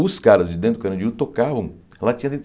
Os caras de dentro do Carandiru tocavam, ela tinha